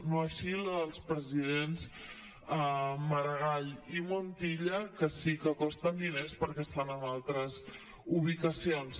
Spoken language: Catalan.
no així la dels presidents maragall i montilla que sí que costen diners perquè estan en altres ubicacions